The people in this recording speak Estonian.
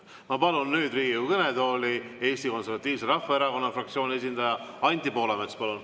Ma palun nüüd Riigikogu kõnetooli Eesti Konservatiivse Rahvaerakonna fraktsiooni esindaja Anti Poolametsa.